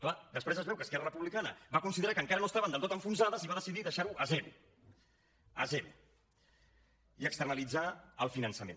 clar després es veu que esquerra republicana va considerar que encara no estaven del tots enfonsades i va decidir deixar ho a zero a zero i externalitzar el finançament